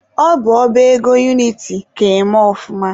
Ọ bụ ọba ego uniti ka eme ọfụma.